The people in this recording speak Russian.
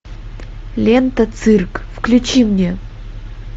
лента цирк включи мне